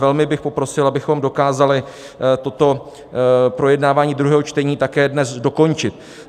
Velmi bych poprosil, abychom dokázali toto projednávání druhého čtení také dnes dokončit.